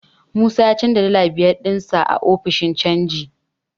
Musa ya canja dala biyar ɗinsa a ofishin canji.